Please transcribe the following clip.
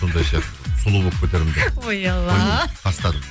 сондай сияқты сұлу болып кетермін деп ой алла тастадым